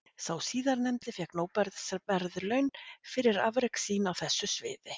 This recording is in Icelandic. Sá síðarnefndi fékk Nóbelsverðlaun fyrir afrek sín á þessu sviði.